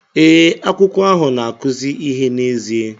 Ee, akwụkwọ ahụ na-akụzi ihe n'ezie